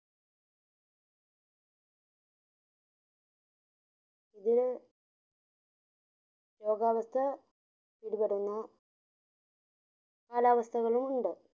ഇതിൽ രോഗാവസ്ഥ പിടിപെടുന് കാലാവസ്ഥകളു ഉണ്ട്